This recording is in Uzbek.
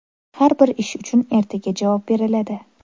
Har bir ish uchun ertaga javob beriladi.